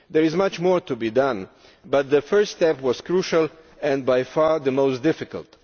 There is much more to be done, but the first step was crucial and by far the most difficult.